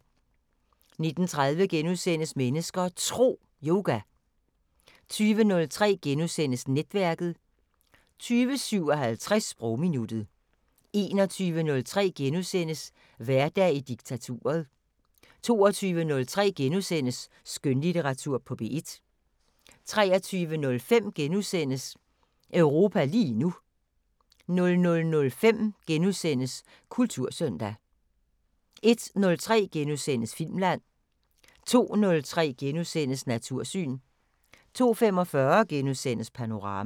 19:30: Mennesker og Tro: Yoga * 20:03: Netværket * 20:57: Sprogminuttet 21:03: Hverdag i diktaturet * 22:03: Skønlitteratur på P1 * 23:05: Europa lige nu * 00:05: Kultursøndag * 01:03: Filmland * 02:03: Natursyn * 02:45: Panorama *